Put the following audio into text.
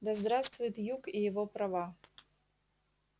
да здравствует юг и его права